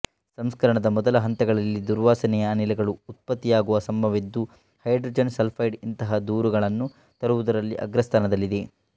ಸಂಸ್ಕರಣದ ಮೊದಲ ಹಂತಗಳಲ್ಲಿ ದುರ್ವಾಸನೆಯ ಅನಿಲಗಳು ಉತ್ಪತ್ತಿಯಾಗುವ ಸಂಭವವಿದ್ದು ಹೈಡ್ರೋಜನ್ ಸಲ್ಫೈಡ್ ಇಂತಹ ದೂರುಗಳನ್ನು ತರುವುದರಲ್ಲಿ ಅಗ್ರಸ್ಥಾನದಲ್ಲಿದೆ